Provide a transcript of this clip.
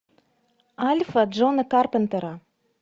альфа джона карпентера